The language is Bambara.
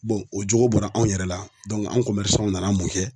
o jogo bɔra anw yɛrɛ la anw nana mun kɛ